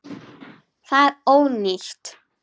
Það er ónýtt.